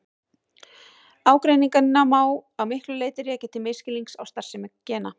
Ágreininginn má að miklu leyti rekja til misskilnings á starfsemi gena.